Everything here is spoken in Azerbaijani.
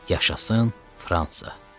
Yaşasın Fransa.